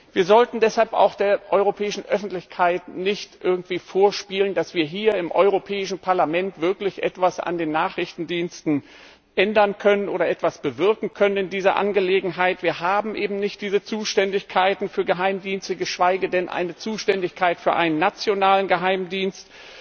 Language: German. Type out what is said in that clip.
Wir sollten deshalb auch der europäischen Öffentlichkeit nicht irgendwie vorspielen, dass wir hier im Europäischen Parlament wirklich etwas an den Nachrichtendiensten ändern können oder in dieser Angelegenheit etwas bewirken können. Wir haben eben nicht diese Zuständigkeiten für Geheimdienste, geschweige denn eine Zuständigkeit für einen nationalen Geheimdienst.